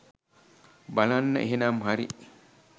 බලන්න එහෙනම් හරි.